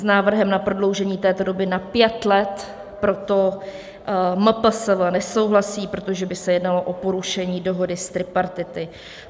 S návrhem na prodloužení této doby na pět let proto MPSV nesouhlasí, protože by se jednalo o porušení dohody z tripartity.